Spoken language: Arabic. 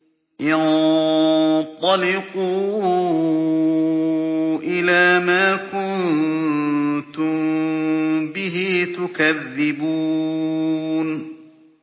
انطَلِقُوا إِلَىٰ مَا كُنتُم بِهِ تُكَذِّبُونَ